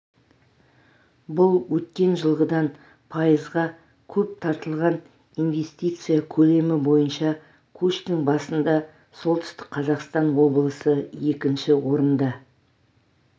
бұл өткен жылғыдан пайызға көп тартылған инвестиция көлемі бойынша көштің басында солтүстік қазақстан облысы екінші орында